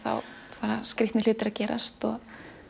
fara skrítnir hlutir að gerast og